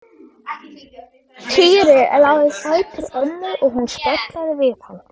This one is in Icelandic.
Týri lá við fætur ömmu og hún spjallaði við hann.